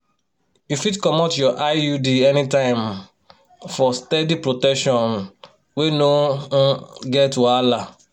you fit comot your iud anytime um for steady protection um wey no um get wahala.